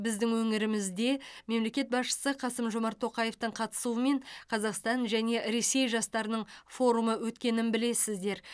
біздің өңірімізде мемлекет басшысы қасым жомарт тоқаевтың қатысуымен қазақстан және ресей жастарының форумы өткенін білесіздер